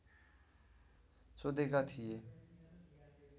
सोधेका थिए